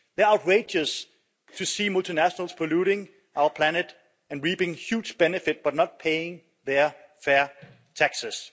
They are outraged to see multinationals polluting our planet and reaping huge benefit, but not paying their fair taxes.